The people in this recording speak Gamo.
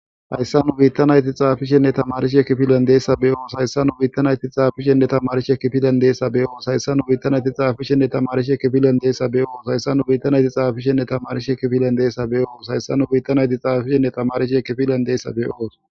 Haysa nu bitta nayti xafishenne tamarishe kifilen dizaysa beyoos. Haysa nu bitta nayti xafishenne tamarishe kifilen dizaysa beyoos. Haysa nu bitta naytixafishenne tamarishe kifilen dizatsa beyoos. Haysa nu bitta nayti xafishenne tamarishe kifilen dizaysa beyoos. Haysa nu bitta nayti xafishenne tamarishe kifilen dizaysa beyoos.